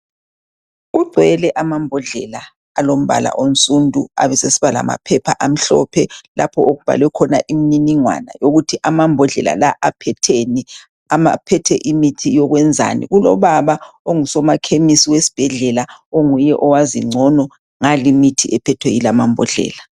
Kugcwele amambodlela alombala onsundu, abesesiba lamaphepha amhlophe lapho okubhalwe khona imininingwana yokuthi amambodlela lawa aphetheni, aphethe imithi yokwenzani. Kulobaba ongusomakhemisi wesibhedlela onguye owazi ngcono ngalimithi ephethwe yila amambodlela.